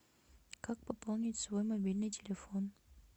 как пополнить свой мобильный телефон